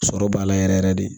Sɔrɔ b'a la yɛrɛ yɛrɛ de